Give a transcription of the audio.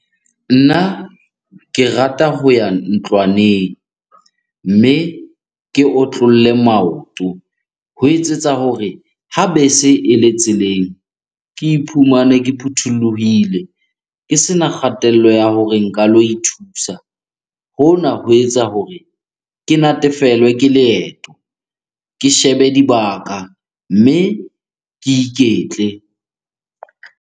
Nna ke rata ho ya ntlwaneng mme ke otlolle maoto. Ho etsetsa hore ha bese ele tseleng, ke iphumane ke phuthulohile, ke sena kgatello ya hore nka lo ithusa. Hona ho etsa hore ke natefelwe ke leeto, ke shebe dibaka mme ke iketle.